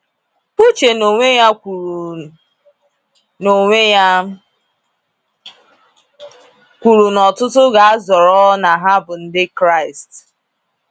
Uche n’onwe ya kwuru n’onwe ya kwuru na ọtụtụ ga - azọrọ na ha bụ Ndị Kraịst.